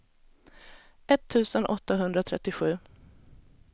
etttusen åttahundratrettiosju